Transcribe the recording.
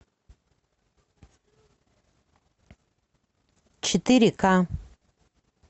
четыре ка